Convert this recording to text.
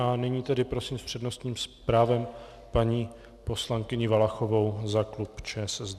A nyní tedy prosím s přednostním právem paní poslankyni Valachovou za klub ČSSD.